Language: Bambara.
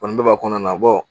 Ni bɛ ba kɔnɔna na